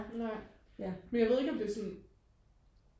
nej men jeg ved ikke om det er sådan